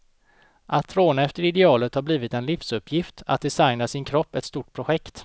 Att tråna efter idealet har blivit en livsuppgift, att designa sin kropp ett stort projekt.